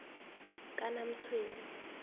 kanamtshweni